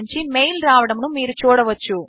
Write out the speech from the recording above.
నుంచి మెయిల్ రావడమును మీరు చూడవచ్చు